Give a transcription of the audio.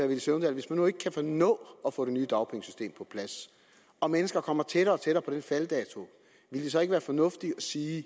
villy søvndal hvis man nu ikke kan nå at få et nyt dagpengesystem på plads og mennesker kommer tættere og tættere på den falddato ville det så ikke være fornuftigt at sige